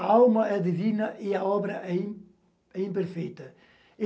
A alma é divina e a obra é im é imperfeita.